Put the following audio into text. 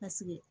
Paseke